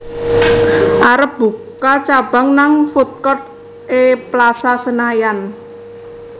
arep buka cabang nang foodcourt e Plaza Senayan